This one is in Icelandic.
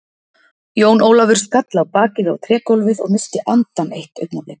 Jón Ólafur skall á bakið á trégólfið og missti andann eitt augnablik.